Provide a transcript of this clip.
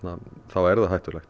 er það hættulegt